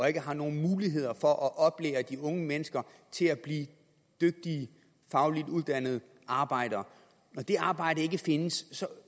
ikke er nogen muligheder for at oplære de unge mennesker til at blive dygtige fagligt uddannede arbejdere og det arbejde ikke findes